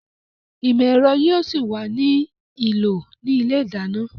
Ìmọ̀ ẹ̀rọ yóò ṣì wà ní ìlò ní ilé ìdáná